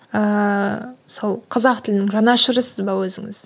ыыы сол қазақ тілінің жанашырысыз ба өзіңіз